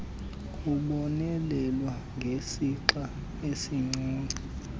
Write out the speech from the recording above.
kubonelelwa ngesixa esincinci